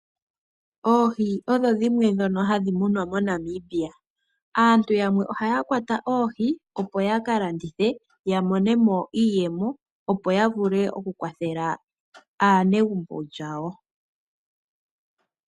Oohi odho dhimwe dhono hadhi munwa moNamibia. Aantu yamwe ohaya kwata oohi opo yaka landithe yamonemo iiyemo opo yavule okukwathela aanegumbo yawo.